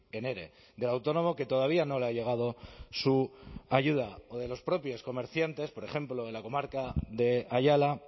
en ere del autónomo que todavía no le ha llegado su ayuda o de los propios comerciantes por ejemplo en la comarca de ayala